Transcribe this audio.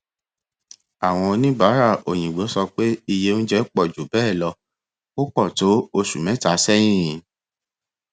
àwon onibaara òyìngbò sọ pé iye oúnjẹ pọ ju bẹẹ lọ ò pọ tó oṣù mẹta sẹyìn